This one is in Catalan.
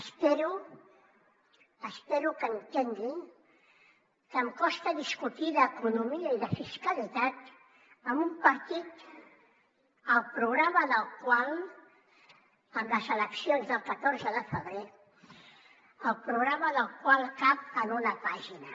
espero que entengui que em costa discutir d’economia i de fiscalitat amb un partit el programa del qual en les eleccions del catorze de febrer cap en una pàgina